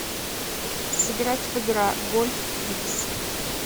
сыграть в игра гольф пикс